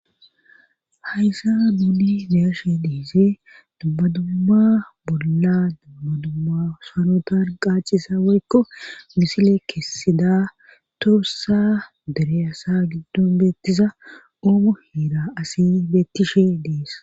hayssa duuni beyeshe dhiise dabbadumma bolla dabbadumma sanutan qaacisa waykko misile kessida toossa dereyasa giddon beettisa oomo hiida asi beettishe dees